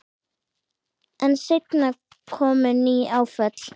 En seinna komu ný áföll.